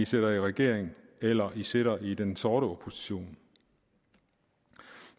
sidder i regering eller sidder i den sorte opposition